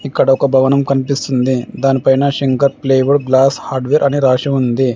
ఇక్కడ ఒక భవనం కనిపిస్తుంది. దానిపైన శంకర్ ప్లైవుడ్ గ్లాస్ హార్డ్వేర్ అని రాసి ఉంది.